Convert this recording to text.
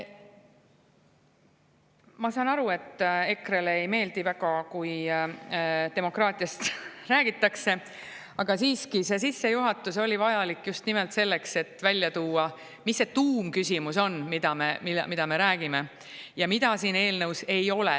Ma saan aru, et EKRE‑le väga ei meeldi, kui demokraatiast räägitakse, aga siiski, see sissejuhatus oli vajalik just nimelt selleks, et välja tuua, mis see tuumküsimus on, millest me räägime ja mida siin eelnõus ei ole.